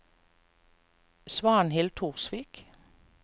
Svanhild Torsvik